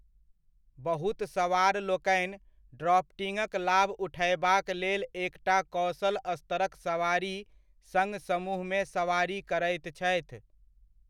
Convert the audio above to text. बहुत सवारलोकनि ड्राफ्टिङ्गक लाभ उठयबाक लेल एकटा कौशल स्तरक सवारी सङ्ग समूहमे सवारी करैत छथि।